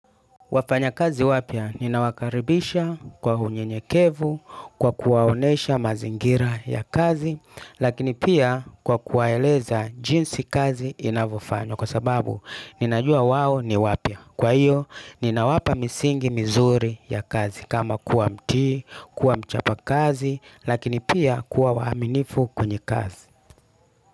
Wafanyakazi wapya nina wakaribisha kwa unyenyekevu kwa kuwaonyesha mazingira ya kazi lakini pia kwa kuwaeleza jinsi kazi inavyofanywa kwa sababu ninajua wao ni wapya kwa hiyo ninawapa misingi mizuri ya kazi kama kuwa mtii, kuwa mchapa kazi lakini pia kuwa waaminifu kwenye kazi.